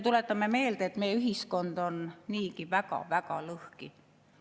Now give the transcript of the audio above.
Tuletame meelde, et meie ühiskond on niigi väga-väga lõhki.